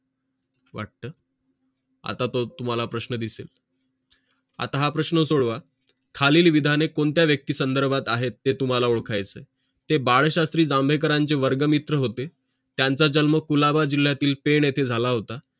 आता तो तुंम्हाला प्रश्न दिसेल आता हा प्रश्न सोडवा खालील विधाने कोणत्या व्यक्ती संदर्भात आहेत ते तुम्हाला ओडखायचे आहेत हे बाळशास्त्री जांभेकरांचे वर्ग मित्र होते त्यांचा जन्म कुलाच्या जिल्यातील फेड येथे झाला होता